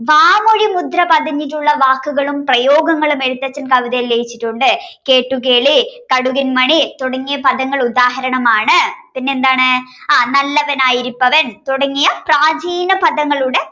വാമൊഴി മുദ്രകൾ പതിഞ്ഞിട്ടുള്ള വാക്കുകളും പ്രയോഗങ്ങളും എഴുത്തച്ഛൻ കവിതകളിൽ രചിച്ചിട്ടുണ്ട് കേട്ടുകേളി കടുകൻ മണി തുടങ്ങിയ പദങ്ങൾ ഉദാഹരണമാണ് പിന്നെന്താണ് ആഹ് നല്ലവനായിരിപ്പവൻ തുടങ്ങിയ പ്രാചീന പദങ്ങളുടെ